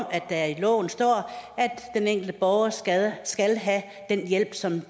at der i loven står at den enkelte borger skal skal have den hjælp som